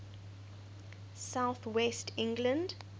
south west england